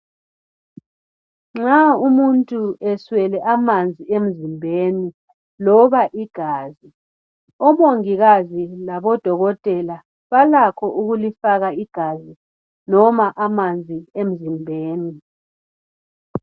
Nxa umuntu eswele amanzi emzimbeni loba igazi, omongikazi labodokotela balakho ukulifaka igazi loba amanzi emzimbeni.